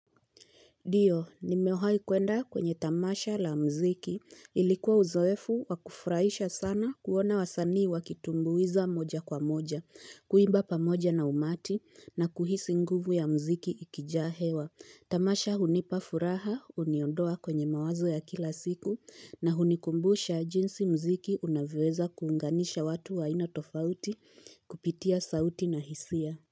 Dio, nimewaikuenda kwenye tamasha la mziki. Ilikuwa uzoefu wakufraisha sana kuona wasanii wakitumbuiza moja kwa moja, kuimba pamoja na umati na kuhisi nguvu ya mziki ikijahewa. Tamasha unipafuraha, uniondoa kwenye mawazo ya kila siku na unikumbusha jinsi mziki unavyoweza kuunganisha watu wa ainatofauti kupitia sauti na hisia.